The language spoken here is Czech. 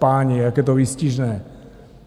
Páni, jak je to výstižné!